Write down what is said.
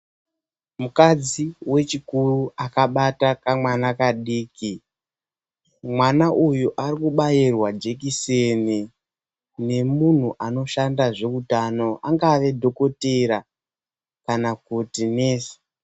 MUKADZI WECHIKURU ANOBATA KAMWANA KADIKI KUTI ,KABAIRWE JEKISENI NEMUNHU ANOSHANDA ZVEUTANO ANGAVA DOKHOTERA KANA KUTI NESI.